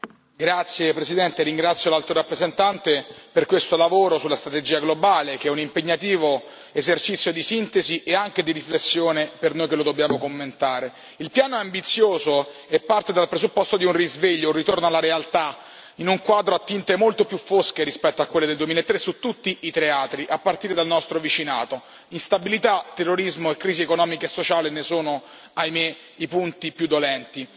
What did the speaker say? Signor Presidente, onorevoli colleghi, ringrazio l'Alto rappresentante per questo lavoro sulla strategia globale, che è un impegnativo esercizio di sintesi e anche di riflessione per noi che lo dobbiamo commentare. Il piano è ambizioso e parte dal presupposto di un risveglio, un ritorno alla realtà, in un quadro a tinte molto più fosche rispetto a quelle del 2003, su tutti i teatri, a partire dal nostro vicinato instabilità, terrorismo e crisi economica e sociale ne sono, ahimè, i punti più dolenti.